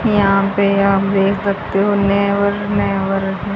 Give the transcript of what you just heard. यहां पे आप देख सकते हो हैं।